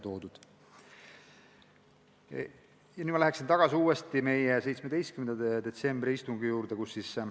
Nüüd läheksin ma tagasi meie 17. detsembri istungi juurde.